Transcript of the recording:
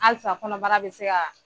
Alisa kɔnɔbara be se kaa